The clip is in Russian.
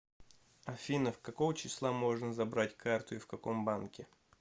афина какого числа можно забрать карту и в каком банке